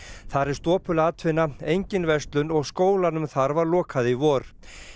þar er stopul atvinna engin verslun og skólanum þar var lokað í vor